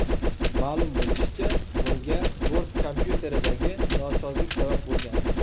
Ma’lum bo‘lishicha, bunga bort kompyuteridagi nosozlik sabab bo‘lgan.